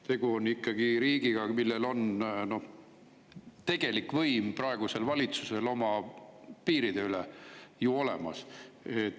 Tegu on ikkagi riigiga, mille valitsusel on tegelik võim oma piiride üle ju olemas.